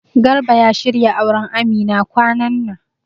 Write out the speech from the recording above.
Garba ya shirya auran Amina kwanan nan